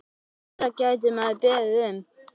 Hvað meira gæti maður beðið um?